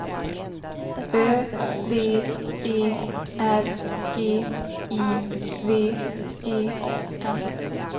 Ö V E R G I V E N